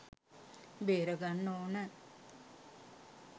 බේරගන්න ඕන.